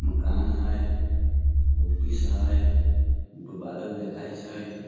मकान हई ऑफिस हई ऊपर बादल दिखाई छई।